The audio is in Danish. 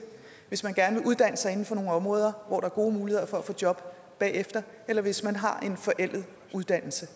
hvis man gerne vil uddanne sig inden for nogle områder hvor der er gode muligheder for at få job bagefter eller hvis man har en forældet uddannelse